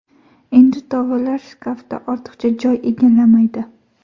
Endi tovalar shkafda ortiqcha joy egallamaydi”.